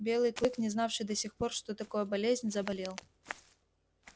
белый клык не знавший до сих пор что такое болезнь заболел